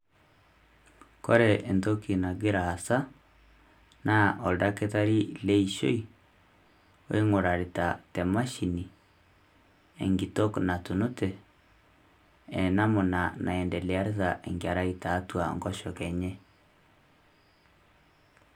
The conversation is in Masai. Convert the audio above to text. Kore ntoki nagira aasa naa odaktarii le ishoi oing'oririta te mashini enkitok natunutee enamuna naendelearita enkerai teatu nkosheke enye.